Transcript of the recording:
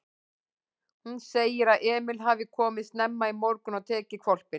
Hún segir að Emil hafi komið snemma í morgun og tekið hvolpinn.